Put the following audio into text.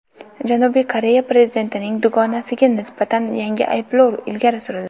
Janubiy Koreya prezidentining dugonasiga nisbatan yangi ayblovlar ilgari surildi.